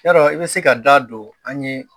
Yadɔ i bɛ se ka da don an ye